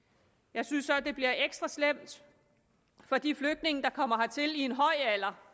jeg synes så at det bliver ekstra slemt for de flygtninge der kommer hertil i en høj alder